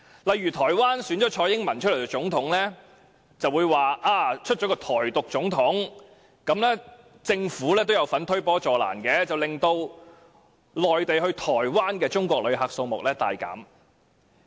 例如台灣蔡英文當選總統，他們就說台灣選了一位台獨總統，在政府推波助瀾下，中國內地到台灣的旅客數目大減。